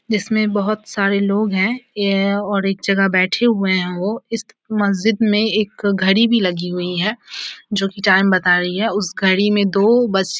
जिसमे बहुत सारे लोग है ये और एक जगह बैठे हुए है औ इस मस्जिद मे एक घड़ी भी लगी हुई है जो की टाइम बता रही है उस घड़ी मे दो बज के --